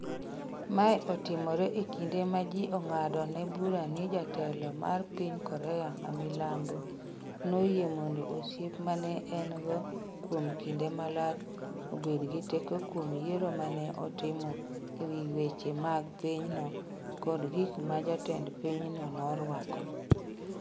Mae otimore e kinde ma ji ng’adone bura ni jatelo mar piny Korea ma milambo noyie mondo osiep ma ne en-go kuom kinde malach obed gi teko kuom yiero ma ne otimo e wi weche mag pinyno kod gik ma jatend pinyno norwako.